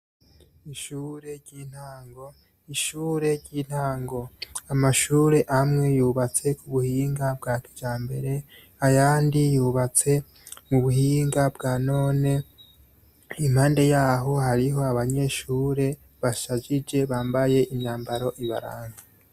Ishure ry'intango, ishure ry'intango. Amashure amwe yubatse ku buhinga bwa kijambere, ayandi yubatse mu buhinga bwa none, impande yaho hariho abanyeshure, bashajije bambaye imyambaro ibaranga.